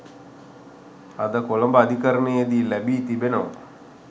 අද කොළඹ අධිකරණයේදී ලැබී තිබෙනවා